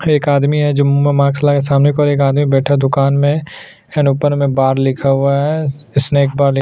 एक आदमी है जो मुँह में मास्क लगा सामने की ओर एक आदमी बैठा दुकान में खैर ऊपर में बार लिखा हुआ है स्नेक बार लिख --